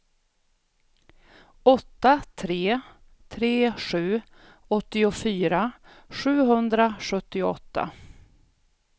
åtta tre tre sju åttiofyra sjuhundrasjuttioåtta